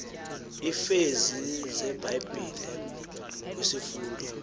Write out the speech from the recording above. iivesi zebhayibhile kwisifundo